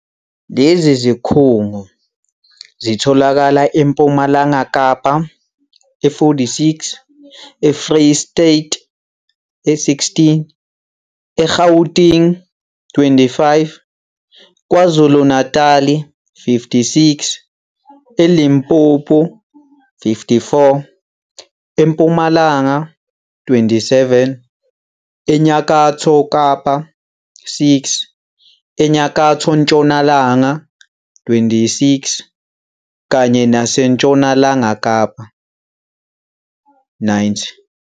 Lezi zikhungo zitholakala eMpumalanga Kapa, 46, eFreyistata, 16, e-Gauteng, 25, KwaZulu-Natali, 56, e-Limpopo, 54, eMpumalanga, 27, eNyakatho Kapa, 6, eNyakatho Ntshonalanga, 26, kanye naseNtshonalanga Kapa, 90.